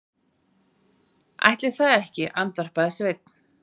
Ætli það ekki, andvarpaði Sveinn.